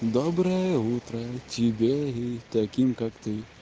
доброе утро тебе и таким как ты